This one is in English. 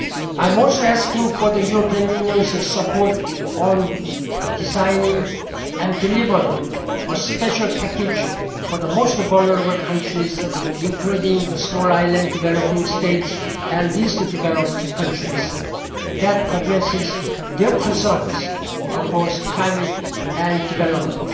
this. I am also asking for the European Union's support on designing and delivering a special package for the most vulnerable countries, including the Small Island Developing States and Least Developed Countries, that addresses their concerns across climate and development.